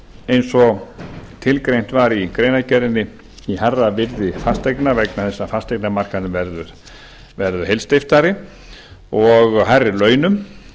eins og tilgreint var í greinargerðinni í hærra virði fasteigna vegna þess að fasteignamarkaðurinn verður heilsteyptari og hærri launum